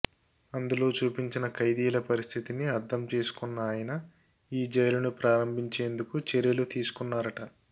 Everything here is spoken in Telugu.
అందులో చూపించిన ఖైదీల పరిస్థితిని అర్థం చేసుకున్న ఆయన ఈ జైలును ప్రారంభించేందుకు చర్యలు తీసుకున్నారట